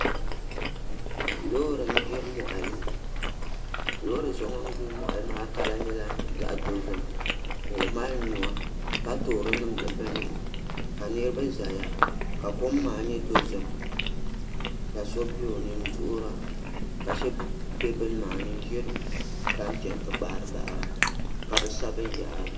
Loori n gbiri moɣali Loori so ŋun gbiri moɣali maa kala nyɛla zaɣ dozim ka o mali nuwa ka toori niŋdi binni ka niraba ʒɛya ka kom maa nyɛ dozim ka so bɛ o ni n duɣura ka shab bɛ bini maa ni n ʒira tam chɛni ti kpaari baɣara ka bi sa binyahari